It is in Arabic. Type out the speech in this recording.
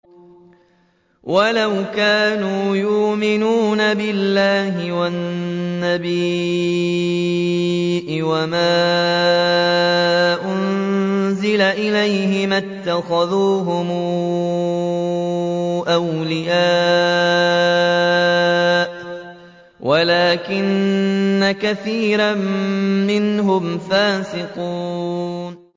وَلَوْ كَانُوا يُؤْمِنُونَ بِاللَّهِ وَالنَّبِيِّ وَمَا أُنزِلَ إِلَيْهِ مَا اتَّخَذُوهُمْ أَوْلِيَاءَ وَلَٰكِنَّ كَثِيرًا مِّنْهُمْ فَاسِقُونَ